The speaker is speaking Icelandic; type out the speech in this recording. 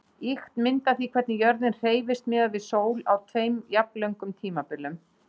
Ýkt mynd af því hvernig jörðin hreyfist miðað við sól á tveimur jafnlöngum tímabilum.